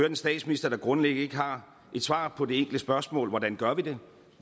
en statsminister der grundlæggende ikke har et svar på det enkle spørgsmål hvordan gør vi det